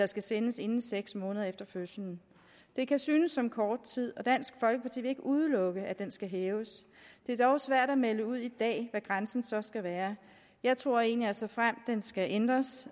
skal sendes inden seks måneder efter fødslen det kan synes som kort tid og dansk folkeparti vil ikke udelukke at den skal hæves det er dog svært at melde ud i dag hvad grænsen så skal være jeg tror egentlig at såfremt den skal ændres